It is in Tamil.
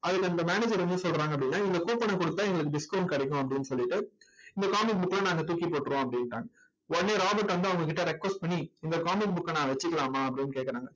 அதில அந்த manager என்ன சொல்றாங்க அப்படின்னா, இந்த coupon அ கொடுத்தா எங்களுக்கு discount கிடைக்கும் அப்படின்னு சொல்லிட்டு இந்த comic book அ எல்லாம் நாங்க தூக்கி போட்டிருவோம் அப்படின்னுட்டாங்க. உடனே ராபர்ட் வந்து அவங்ககிட்ட request பண்ணி இந்த comic book அ நான் வச்சுக்கலாமா அப்படின்னு கேட்கறாங்க.